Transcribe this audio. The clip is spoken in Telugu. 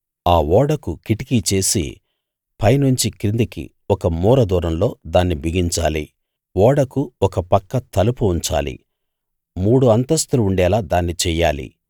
ఆ ఓడకు కిటికీ చేసి పైనుంచి కిందికి ఒక మూర దూరంలో దాన్ని బిగించాలి ఓడకు ఒక పక్క తలుపు ఉంచాలి మూడు అంతస్థులు ఉండేలా దాన్ని చెయ్యాలి